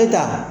E ta